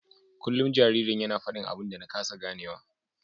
Kullum jaririn yana fadin abin da na kasa ganewa.